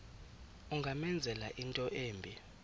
ungamenzela into embi